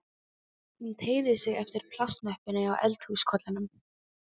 Hún teygði sig eftir plastmöppunni á eldhúskollinum.